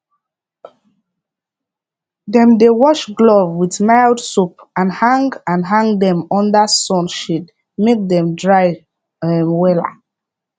dem dey wash glove with mild soap and hang and hang dem under sun shade make dem dry um wella